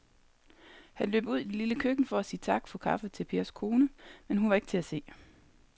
Han løb ud i det lille køkken for at sige tak for kaffe til Pers kone, men hun var ikke til at se.